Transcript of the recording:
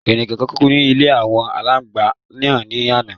Ẹnìkan kú ní ilé àwọn àgbàlagbà náà ní ana